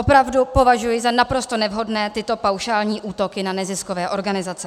Opravdu považuji za naprosto nevhodné tyto paušální útoky na neziskové organizace.